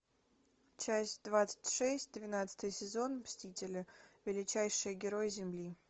часть двадцать шесть двенадцатый сезон мстители величайшие герои земли